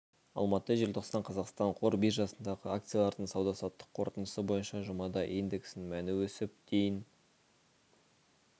алматы желтоқсан қазақстан қор биржасындағы акциялардың сауда-саттық қорытындысы бойынша жұмада индексінің мәні өсіп дейін